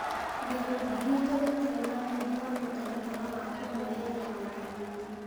Gĩkundi gitũ gĩtire na wendi wa mũtaratara wa kũmweheria wathani-inĩ ,